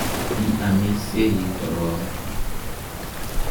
Ki amisyei korok ii?